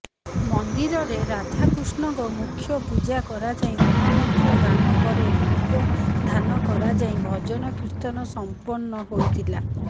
ମନ୍ଦିରରେ ରାଧାକୃଷ୍ଣଙ୍କ ମୁଖ୍ୟ ପୂଜା କରାଯାଇ ମହାମନ୍ତ୍ର ଗାନ ପରେ ରୂପଧାନ କରାଯାଇ ଭଜନକୀର୍ତ୍ତନ ସମ୍ପର୍ଣ୍ଣ ହୋଇଥିଲା